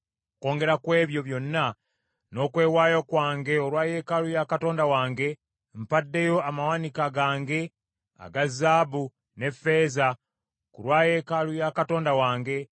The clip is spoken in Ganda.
Okwongera kw’ebyo byonna, n’okwewaayo kwange olwa yeekaalu ya Katonda wange, mpaddeyo amawanika gange aga zaabu ne ffeeza ku lwa yeekaalu ya Katonda wange;